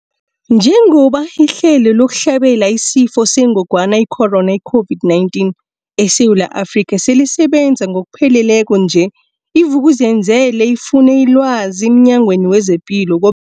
Njengoba ihlelo lokuhlabela isiFo sengogwana i-Corona, i-COVID-19, eSewula Afrika selisebenza ngokupheleleko nje, i-Vuk'uzenzele ifune ilwazi emNyangweni wezePilo ko